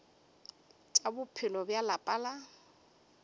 tša bophelo bja lapa la